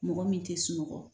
Mɔgɔ min te sunɔgɔ